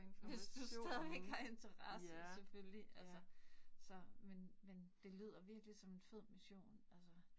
Hvis du stadigvæk har interesse selvfølgelig altså, så men men det lyder virkelig som en fed mission altså